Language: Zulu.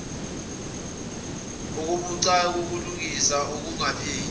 okubucayi kulungiswa engakapheli